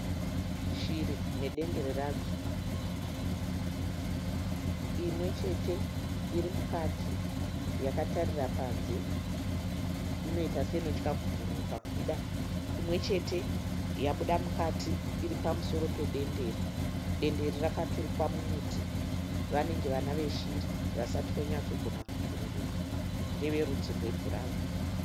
Shiri nedendere radzo. Imwe chete iri mukati yakatarira panze inoita seinotya kubhururuka kubuda. Imwechete yabuda mukati iripamusoro pedendere. Dendere rakaturikwa mumuti. Vanenge vana veshiri vanenge vasati vanyatso gona kubhururuka. Ndeverudzi rwe bhurauni .